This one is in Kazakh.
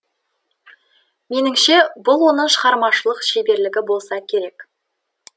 меніңше бұл оның шығармашылық шеберлігі болса керек